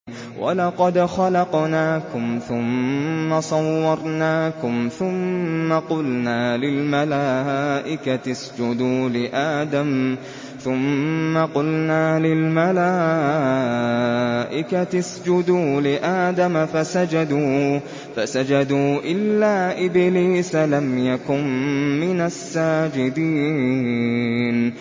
وَلَقَدْ خَلَقْنَاكُمْ ثُمَّ صَوَّرْنَاكُمْ ثُمَّ قُلْنَا لِلْمَلَائِكَةِ اسْجُدُوا لِآدَمَ فَسَجَدُوا إِلَّا إِبْلِيسَ لَمْ يَكُن مِّنَ السَّاجِدِينَ